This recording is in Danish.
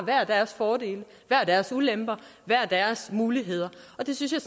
deres fordele hver deres ulemper hver deres muligheder og det synes jeg